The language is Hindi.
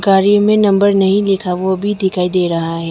गाड़ी में नंबर नहीं लिखा वो भी दिखाई दे रहा है।